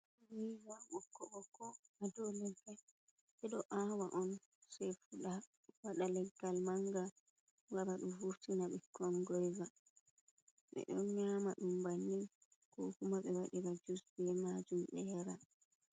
Gyoiba bokko-bokko ha dau leggal. Bedo awa on, se fuda, wada leggal manga. Wara du vurtina binkon gyoiba. Be do nyama dum bannin ko kuma be wadira jus be majum be yara.